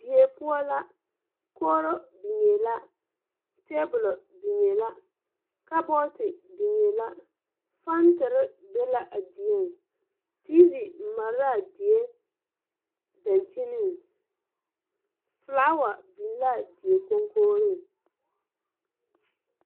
Die poɔ la kogro biŋee la tabolɔ biŋee la kabɔɔte biŋee la fanterre be la a dieŋ teevi mare laa die dankyiniŋ flaawa biŋ laa die konkogriŋ.